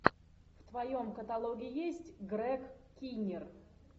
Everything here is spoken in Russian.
в твоем каталоге есть грег киннир